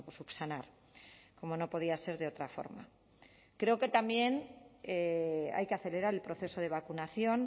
subsanar como no podía ser de otra forma creo que también hay que acelerar el proceso de vacunación